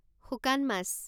শুকান মাছ